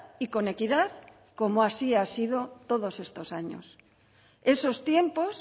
y con equidad como así ha sido todos estos años esos tiempos